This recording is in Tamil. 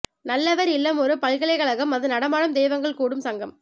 நல்லவர் இல்லம் ஒரு பல்கலைக்கழகம் அது நடமாடும் தெய்வங்கள் கூடும் சங்கம்